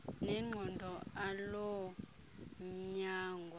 nengqondo aloo mnyangwa